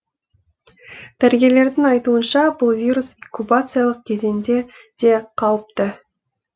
дәрігерлердің айтуынша бұл вирус инкубациялық кезеңде де қауіпті